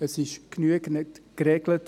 So, wie es ist, ist es genügend geregelt.